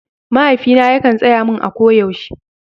Mahaifina yakan tsaya mun a ko yaushe